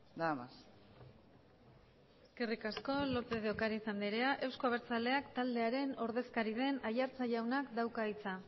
nada más eskerrik asko lópez de ocariz andrea eusko abertzaleak taldearen ordezkari den aiartza jaunak dauka hitza